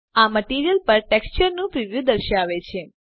આ મટીરીઅલ પર ટેક્સચરનું પ્રિવ્યુ દર્શાવે છે